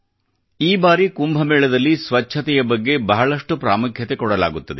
ಈ ಸಾರಿ ಕುಂಭ ಮೇಳದಲ್ಲಿ ಸ್ವಚ್ಚತೆಯ ಬಗ್ಗೆ ಬಹಳಷ್ಟು ಪ್ರಾಮುಖ್ಯತೆ ಕೊಡಲಾಗುತ್ತದೆ